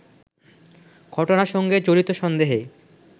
ঘটনার সঙ্গে জড়িত সন্দেহে